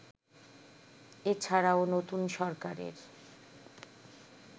এছাড়াও নতুন সরকারের